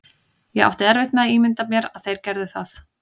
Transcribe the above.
Ég átti erfitt með að ímynda mér að þeir gerðu það.